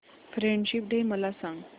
friendship day मला सांग